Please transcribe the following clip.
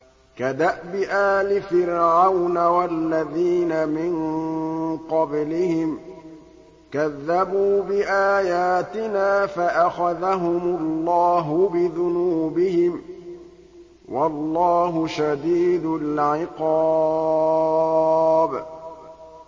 كَدَأْبِ آلِ فِرْعَوْنَ وَالَّذِينَ مِن قَبْلِهِمْ ۚ كَذَّبُوا بِآيَاتِنَا فَأَخَذَهُمُ اللَّهُ بِذُنُوبِهِمْ ۗ وَاللَّهُ شَدِيدُ الْعِقَابِ